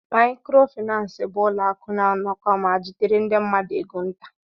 Mayikoro finansi bụ ụlọ akụ na-anakọ ma jidere ndị mmadụ égo nta.